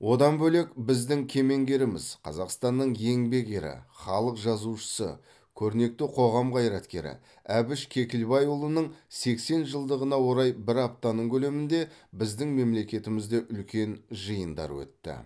одан бөлек біздің кемеңгеріміз қазақстанның еңбек ері халық жазушысы көрнекті қоғам қайраткері әбіш кекілбайұлының сексен жылдығына орай бір аптаның көлемінде біздің мемлекетімізде үлкен жиындар өтті